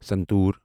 santoor